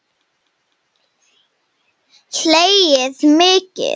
Hlegið mikið.